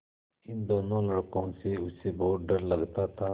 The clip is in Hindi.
इन दोनों लड़कों से उसे बहुत डर लगता था